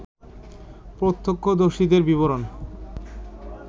প্রত্যক্ষদর্শীদের বিবরণ